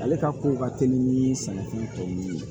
Ale ka kow ka teli ni sɛnɛfɛn tɔw ye